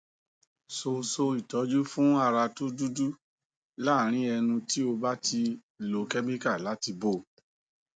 so so itoju fun ara to dudu larin enu ti o ba ti lo chemical lati bo